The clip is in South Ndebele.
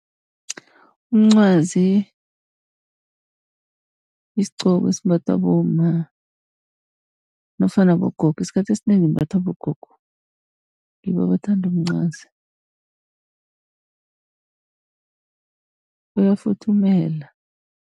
Umncwazi yisgcoko esimbathwa bomma nofana bogogo. Isikhathi esinengi imbathwa bogogo, ngibo abathanda umncwazi uyafuthumela.